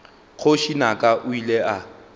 kgoši naka o ile a